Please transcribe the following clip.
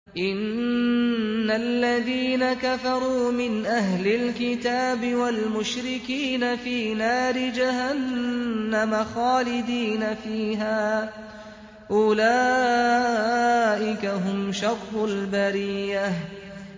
إِنَّ الَّذِينَ كَفَرُوا مِنْ أَهْلِ الْكِتَابِ وَالْمُشْرِكِينَ فِي نَارِ جَهَنَّمَ خَالِدِينَ فِيهَا ۚ أُولَٰئِكَ هُمْ شَرُّ الْبَرِيَّةِ